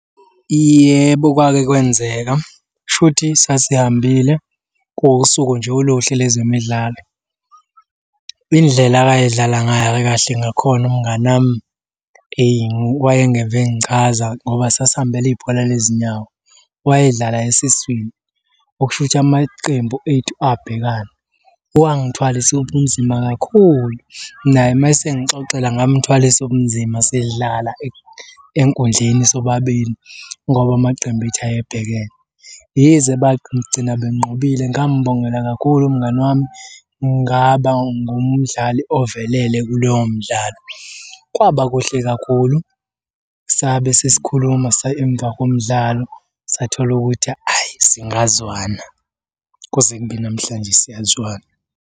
Yebo, kwake kwenzeka. Kushuthi sasihambile, kuwusuku nje oluhle lezemidlalo. Indlela akayedlala ngayo kahle ngakhona umngani wami, eyi wayengeve engichaza ngoba sasihambele ibhola lezinyawo. Wayedlala esiswini, okushukuthi amaqembu ethu abhekana. Wangithwalisa ubunzima kakhulu. Naye uma esengixoxela ngamuthwalisa ubunzima sidlala enkundleni sobabili, ngoba amaqembu ethu ayebhekene. Yize bagcina benqobile ngambongela kakhulu umngani wami, ngaba ngumdlali ovelele kuleyo mdlalo. Kwaba kuhle kakhulu, sabe sesikhuluma emva komdlalo, sathola ukuthi, hhayi singazwana. Kuze kube namhlanje siyazwana.